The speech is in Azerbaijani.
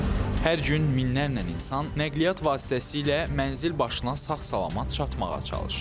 Hər gün minlərlə insan nəqliyyat vasitəsilə mənzil başına sağ-salamat çatmağa çalışır.